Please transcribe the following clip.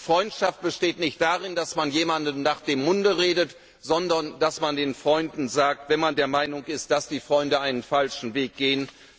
Freundschaft besteht nicht darin, dass man jemandem nach dem Munde redet, sondern dass man den Freunden gegenüber zum Ausdruck bringt, wenn man der Meinung ist, dass die Freunde einen falschen Weg gehen.